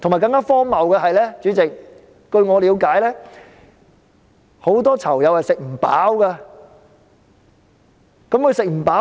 更荒謬的是，主席，據我了解，很多囚友是吃不飽的。